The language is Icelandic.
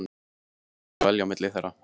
Edda varð að velja á milli þeirra.